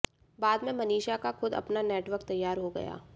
बाद में मनीषा का खुद अपना नेटवर्क तैयार हो गया